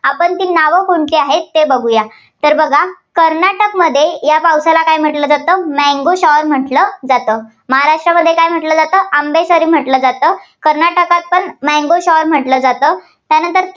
आपण ती नावं कोणती आहेत ते बघुया. तर बघा कर्नाटकमध्ये या पावसाला काय म्हटलं जातं mango shower म्हटलं जातं. महाराष्ट्रामध्ये काय म्हटलं जात? आंबेसरी म्हटलं जातं. कर्नाटकात mango shower म्हटलं जातं. त्यानंतर